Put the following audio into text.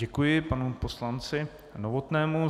Děkuji panu poslanci Novotnému.